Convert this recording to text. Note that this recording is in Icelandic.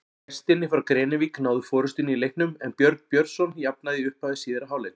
Gestirnir frá Grenivík náðu forystunni í leiknum en Björn Björnsson jafnaði í upphafi síðari hálfleiks.